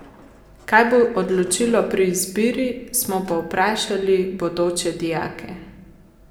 Kaj bo odločilo pri izbiri, smo povprašali bodoče dijake.